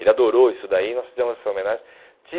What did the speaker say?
Ele adorou isso daí e nós fizemos essa homenagem.